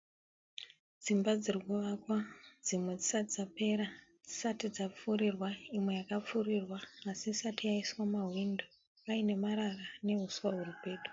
Dzimba dziri kuvakwa. Dzimwe dzisati dzapera. Dzisati dzapfurirwa, imwe yakapfurirwa asi isati yaiswa mahwindo paine marara nehiswa huri pedo.